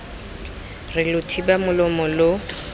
re lo thiba molomo lo